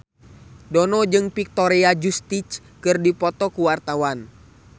Dono jeung Victoria Justice keur dipoto ku wartawan